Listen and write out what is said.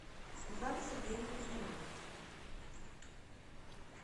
светланы сергеевны кузьминой